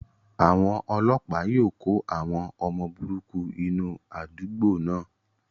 Àwọn ọlọ́pàá yóò kó àwọn ọmọ burúkú inú àdúgbò náà.